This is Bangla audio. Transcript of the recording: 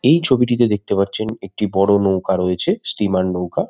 এই ছবিটিতে দেখতে পাচ্ছেন একটি বড় নৌকা রয়েছে স্টিমার নৌকা ।